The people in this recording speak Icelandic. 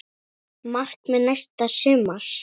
Markmið næsta sumars?